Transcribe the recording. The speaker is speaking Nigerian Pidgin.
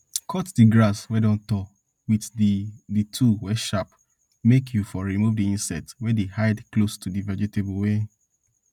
cut di grass wey don tall wit di di tool wey sharp make you for remove di insects wey dey hide close to di vegetables wey